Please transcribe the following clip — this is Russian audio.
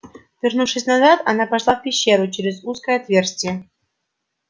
вернувшись назад она пошла в пещеру через узкое отверстие